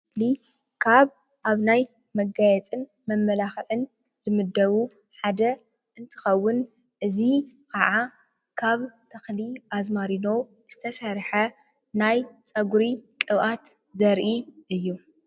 ካብ ኣብ ናይ መጋየፅን መማላኽዕን ዝምደቡ ሓደ እንትኸውን እዚ ካዓ ካብ ተኽሊ አዝማሪኖ ዝተሰርሐ ናይ ፀጉሪ ቅብኣት ዘርኢ እዩ፡፡